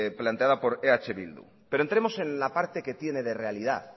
planteada por eh bildu pero entremos en la parte que tiene de realidad